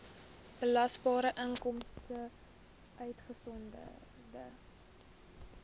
belasbare inkomste uitgesonderd